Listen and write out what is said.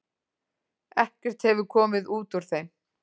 Ekkert hefur komið út úr þeim.